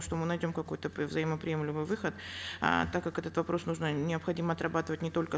что мы найдем какой то взаимоприемлемый выход э так как этот вопрос нужно необходимо отрабатывать не только